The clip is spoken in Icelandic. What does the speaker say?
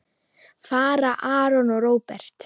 Fara Aron og Róbert?